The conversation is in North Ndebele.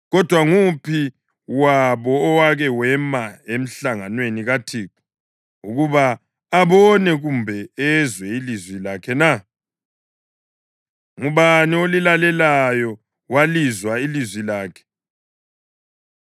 Kodwa nguphi wabo owake wema emhlanganweni kaThixo ukuba abone kumbe ezwe ilizwi lakhe na? Ngubani olilaleleyo walizwa ilizwi lakhe?